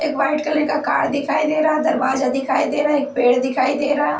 एक white colour का car दिखाई दे रहा दरवाजा दिखाई दे रहा एक पेड़ दिखाई दे रहा--